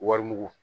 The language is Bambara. Wari mugu